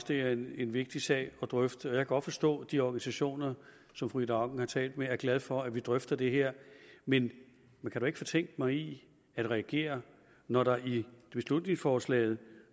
det er en vigtig sag at drøfte og jeg kan godt forstå de organisationer som fru ida auken har talt med er glade for at vi drøfter det her men man kan da ikke fortænke mig i at reagere når der i beslutningsforslaget